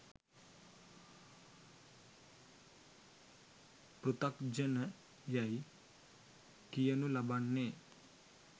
පෘථග්ජන යයි කියනු ලබන්නේ